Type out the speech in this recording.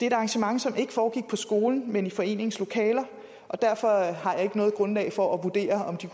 et arrangement som ikke foregik på skolen men i foreningens lokaler og derfor har jeg ikke noget grundlag for at vurdere om de